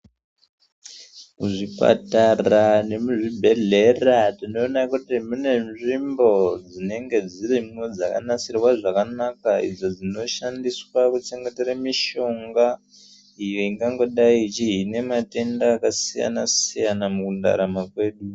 Muzvipatara nemuzvibhehlera tinoona kuti mune nzvimbo dzinenge dzirimo dzakanasirwa zvakanaka idzo dzinoshandiswa kuchengetere mishonga iyo ingangodai ichihine matenda akasiyana siyana mukundarama kwedu.